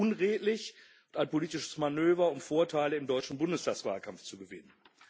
Das ist unredlich und ein politisches Manöver, um Vorteile im deutschen Bundestagswahlkampf zu gewinnen.